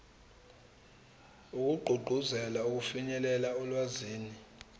wokugqugquzela ukufinyelela olwazini